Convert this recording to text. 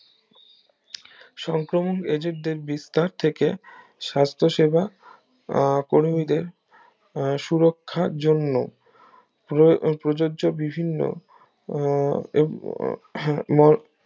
সংক্রমণ এজেন্টের বিস্তার থেকে সাস্থ সেবা আহ কর্মীদের উম সুরক্ষার জন্য প্র~ প্রযোজ্য বিভিন্ন উম আহ উম হম